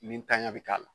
Ni ntanya bɛ k'a la